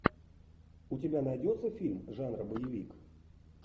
у тебя найдется фильм жанра боевик